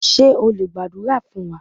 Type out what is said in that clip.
Ṣé o lè gbàdúrà fún wa?